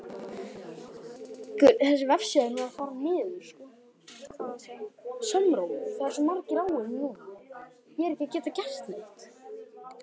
Seinni spurning dagsins er: Hver er mesti töffarinn?